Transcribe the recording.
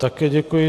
Také děkuji.